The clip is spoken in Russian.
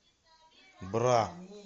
бра